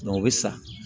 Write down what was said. o bɛ sa